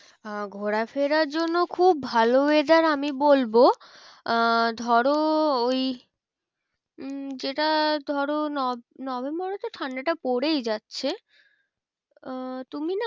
আহ ঘোরা ফেরার জন্য খুব ভালো weather আমি বলবো আহ ধরো ওই উম যেটা ধরো নভেম্বরে তো ঠান্ডাটা পড়েই যাচ্ছে আহ তুমি না